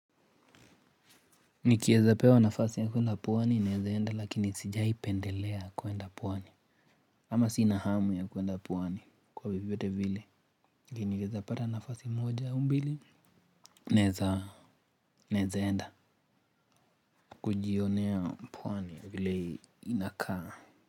Nikieza pewa nafasi ya kuenda pwani naeza enda lakini sijaipendelea kuenda pwani. Ama sina hamu ya kuenda pwani kwa vyoyote vile. Nikieza pata nafasi moja au mbili Naeza Naeza enda. Kujionea pwani vile inakaa.